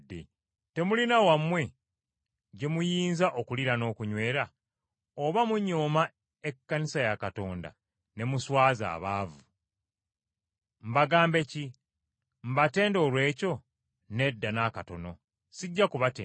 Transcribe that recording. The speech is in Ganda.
Temulina wammwe gye muyinza okuliira n’okunywera? Oba munyooma ekkanisa ya Katonda, ne muswaza abaavu? Mbagambe ki? Mbatende olw’ekyo? Nedda na katono, sijja kubatenda.